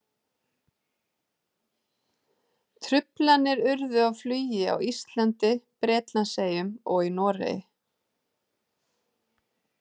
Truflanir urðu á flugi á Íslandi, Bretlandseyjum og í Noregi.